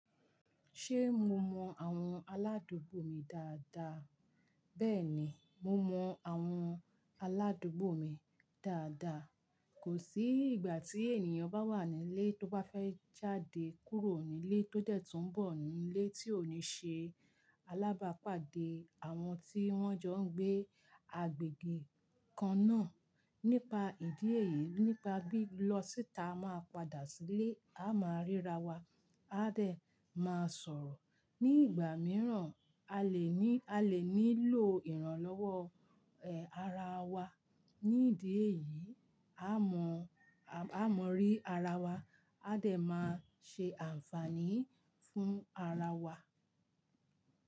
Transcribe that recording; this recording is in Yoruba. Ṣé mo mọ àwọn aládùúgbò mi dáadáa? Bẹ́ẹ̀ni, mo mọ àwọn aládùúgbò mi dáadáa. Kò sí ìgbà tí ènìyàn bá wà nílé tó bá fẹ́ jáde kúrò nílé tó dẹ̀ tún bọ̀ nílé tí ò ní ṣe alábàápàdé àwọn tí wọ́n jọ ń gbé agbègbè kan náà. Nípa ìdí èyí, nípa bí lọ síta máa padà sílé, a máa ríra wa, a dẹ̀ máa sọ̀rọ̀. Ní ìgbà mìíràn, a lè ní, a lè nílò ìrànlọ́wọ́, ẹ, ara wa. Ní ìdí èyí, a mọ, a mọrí ara wa, a dẹ̀ máa ṣe àǹfààní fún ara wa.